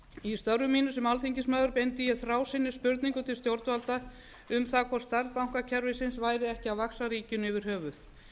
í störfum mínum sem alþingismaður beindi ég þrásinnis spurningum til stjórnvalda um það hvort stærð bankakerfisins væri ekki að vaxa ríkinu yfir höfuð